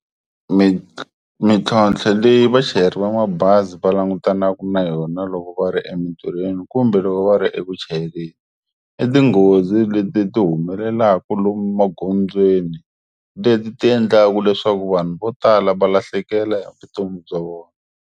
mintlhontlho leyi vachayeri va mabazi va langutanaku na yona loko va ri emintirhweni kumbe loko va ri eku chayeleni i tinghozi leti ti humelelaku lomu magondzweni leti ti endlaku leswaku vanhu vo tala va lahlekela hi vutomi bya vona.